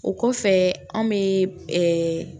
O kɔfɛ anw bɛ